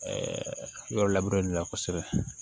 yɔrɔ laburereli la kosɛbɛ